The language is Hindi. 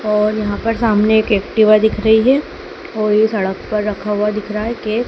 और यहाँ पर सामने एक एक्टिवा दिख रही है और ये सड़क पर रखा हुआ दिख रहा है के --